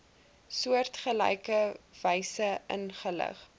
soortgelyke wyse ingelig